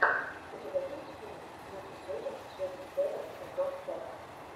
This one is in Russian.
у тебя есть фильм ники сетин сети севен стэндофф сэконд